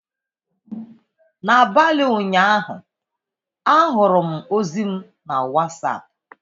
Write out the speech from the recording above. N'abalị ụnyaahụ, ahụrụ m ozi m na Wasapụ.